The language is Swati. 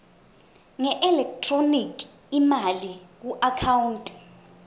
ngeelekthroniki imali kuakhawunti